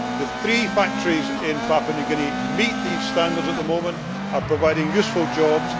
The three factories in Papua New Guinea meet these standards at the moment and are providing useful jobs.